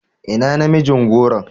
Ina namijin goron?